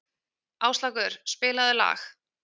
Áslákur, spilaðu lag.